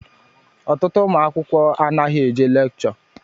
Ọtụtụ ụmụ akwụkwọ anaghị eje lekchọ.